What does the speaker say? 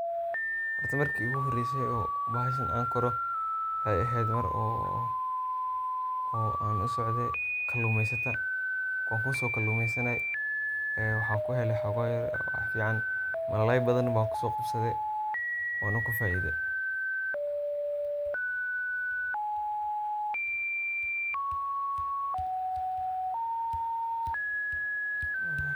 horta markii igu horeyso oo bahashan on koro waxay eheed mar oo an usocde kaluumeysata wankuso kaluumeysanay ee waxan kuheli woxogo yar wax fican, malalay badan ban kuso qabsade wanu kufaide